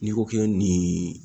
N'i ko k'i ye nin